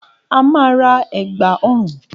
A máa ra ègbà ọrùn